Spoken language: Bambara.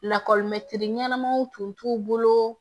Lakɔlimɛtiri ɲɛnamanw tun t'u bolo